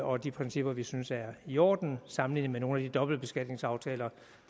og de principper vi synes er i orden sammenlignet med nogle af de dobbeltbeskatningsaftaler